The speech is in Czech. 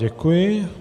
Děkuji.